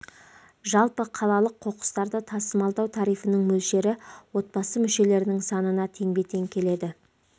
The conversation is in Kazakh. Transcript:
жалпы қалалық қоқыстарды тасымалдау тарифінің мөлшері отбасы мүшелерінің санына теңбе-тең келеді